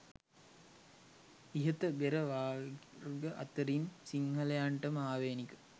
ඉහත බෙර වර්ග අතරින් සිංහලයන්ටම ආවේනික